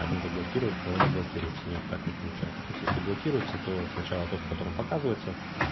один заблокировали второй не блокируется нет так не получается то есть если блокируется то сначала тот в котором показывается